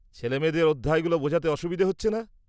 -ছেলেমেয়েদের অধ্যায়গুলো বোঝাতে অসুবিধা হচ্ছে না?